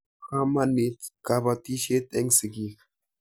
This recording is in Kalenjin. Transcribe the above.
Po kamonit kapatisyet eng' sigik.